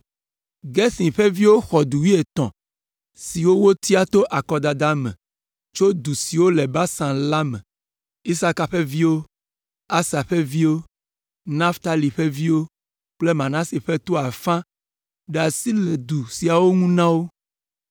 Gerson ƒe viwo xɔ du wuietɔ̃ siwo wotia to akɔdada me tso du siwo le Basan la me. Isaka ƒe viwo, Aser ƒe viwo, Naftali ƒe viwo kple Manase ƒe to ƒe afã ɖe asi le du siawo ŋu na wo.